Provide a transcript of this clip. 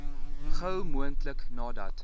gou moontlik nadat